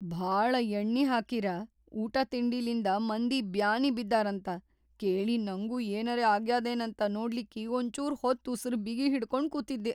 ಭಾಳ ಯಣ್ಣಿಹಾಕಿರ ಊಟಾತಿಂಡಿಲಿಂದ ಮಂದಿ ಬ್ಯಾನಿ ಬಿದ್ದಾರಂತ ಕೇಳಿ ನಂಗೂ ಏನರೆ ಆಗ್ಯಾದೇನಂತ ನೋಡ್ಲಿಕ್ಕಿ ಒಂಚೂರ್‌ ಹೊತ್‌ ಉಸರ್‌ ಬಿಗಿ ಹಿಡಕೊಂಡ್‌ ಕೂತಿದ್ದೆ.